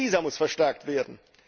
Auch dieser muss verstärkt werden.